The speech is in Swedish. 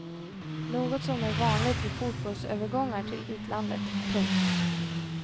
Något som är vanligt vid fotbollsövergångar till utlandet. punkt